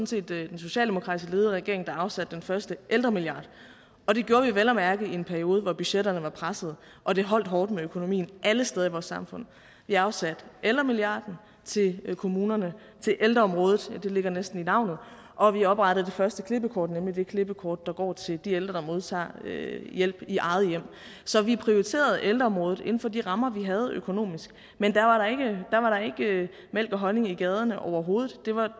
set den socialdemokratisk ledede regering der afsatte den første ældremilliard og det gjorde vi vel at mærke i en periode hvor budgetterne var pressede og det holdt hårdt med økonomien alle steder i vores samfund vi afsatte ældremilliarden til kommunerne til ældreområdet det ligger næsten i navnet og vi oprettede det første klippekort nemlig det klippekort der går til de ældre der modtager hjælp i eget hjem så vi prioriterede ældreområdet inden for de rammer vi havde økonomisk men der var da ikke mælk og honning i gaderne overhovedet